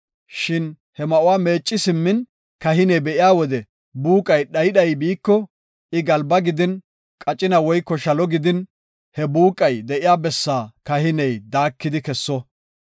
Shin he ma7uwa meecci simmin kahiney be7iya wode buuqay dhayi dhayi biiko, I galba gidin, qacina woyko shalo gidin, he buuqay de7iya bessaa kahiney daakidi kesso.